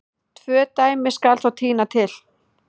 Tvö dæmi skal þó tína til.